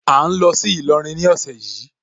À ń lọ sí Ìlọrin ní ọ̀sẹ̀ yìí.